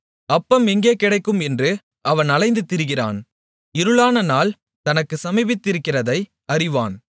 அப்பம் எங்கே கிடைக்கும் என்று அவன் அலைந்து திரிகிறான் இருளானநாள் தனக்குச் சமீபித்திருக்கிறதை அறிவான்